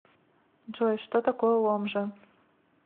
джой что такое ломжа